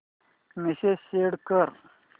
message send कर